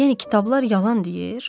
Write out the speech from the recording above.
Yəni kitablar yalan deyir?